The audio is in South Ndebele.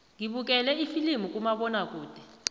ngibukele ifilimu kumabonakude